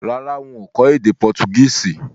Rárá, n kò kó édé Portuguese